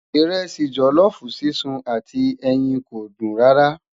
iresi jolofu sísun àti ẹyìn kò dùn rara